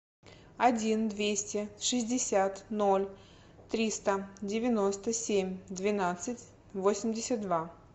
один двести шестьдесят ноль триста девяносто семь двенадцать восемьдесят два